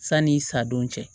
Sani i sa don cɛ